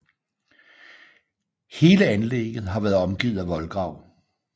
Hele anlægget har været omgivet af voldgrav